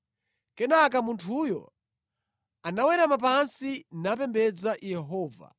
Kenaka munthuyo anawerama pansi napembedza Yehova,